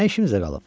Nə işimizə qalıb?